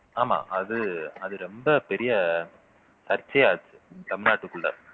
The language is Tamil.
ஆமா அது அது ரொம்ப பெரிய சர்ச்சையாச்சு தமிழ்நாட்டுக்குள்ள